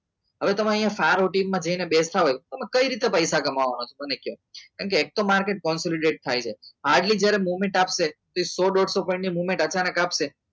હવે તમે અહીંયા સારો ટીમમાં જઈને બેઠા હોય તમે કઈ રીતના પૈસા કમાવાના છો મને તો કેમ કે એક તો માર્કેટ consult થાય છે આ એટલી movement આવશે point અચાનક આપશે